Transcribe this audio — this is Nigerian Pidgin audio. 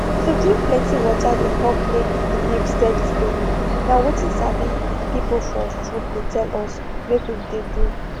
to drink plenty water dey help make the milk steady steady na wetin sabi people for food dey tell us make we de do